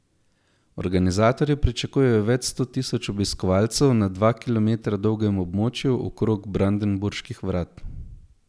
Organizatorji pričakujejo več sto tisoč obiskovalcev na dva kilometra dolgem območju okrog Brandenburških vrat.